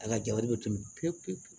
A ka jabali bɛ tobi pepewu